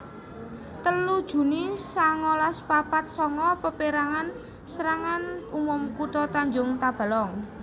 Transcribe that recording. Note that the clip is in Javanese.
telu juni sangalas papat sanga Paperangan Serangan Umum Kutha Tanjung Tabalong